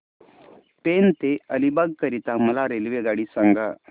पेण ते अलिबाग करीता मला रेल्वेगाडी सांगा